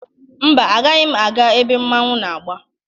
Mba, agaghị m aga ebe mmọnwụ na-agba.